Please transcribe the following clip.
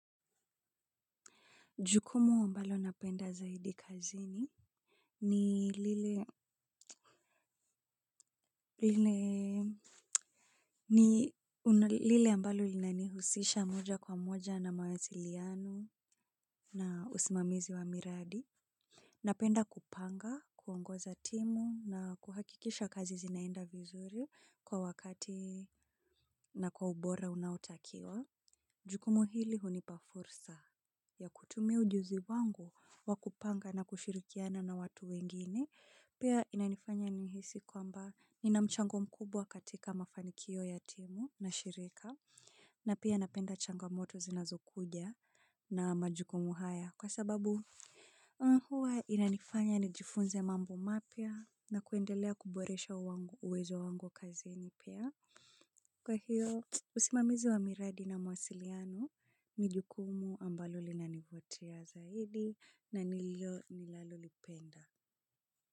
Jukumu ambalo napenda zaidi kazini ni lile ambalo linanihusisha moja kwa moja na mawasiliano na usimamizi wa miradi. Napenda kupanga, kuongoza timu na kuhakikisha kazi zinaenda vizuri kwa wakati na kwa ubora unaotakiwa. Jukumu hili hunipa fursa ya kutumia ujuzi wangu wa kupanga na kushirikiana na watu wengine. Pia inanifanya nihisi kwamba ina mchango mkubwa katika mafanikio ya timu na shirika. Na pia napenda changamoto zinazokuja na majukumu haya. Kwa sababu huwa inanifanya nijifunze mambo mapya na kuendelea kuboresha uwezo wangu kazini pia. Kwa hiyo usimamizi wa miradi na mawasiliano ni jukumu ambalo linanivutia zaidi na nilio ninalolipenda.